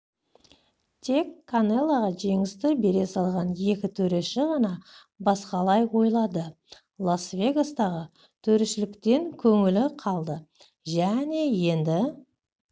тек канелоға жеңісті бере салған екі төреші ғана басқалай ойлады лас-вегастағы төрешіліктен көңілі қалды және енді